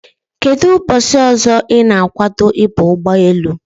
Kedụ ụbọchị ọzọ ị na-agwado ịba ụgbọelu?